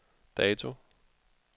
dato